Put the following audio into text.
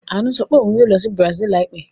Àánú sọ pé òun yóò lọ sí Brazil láìpẹ́.